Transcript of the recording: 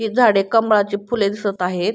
ही झाडे कमळाची फुले दिसत आहेत.